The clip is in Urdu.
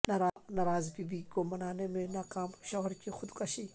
ناراض بیوی کو منانے میں ناکام شوہر کی خودکشی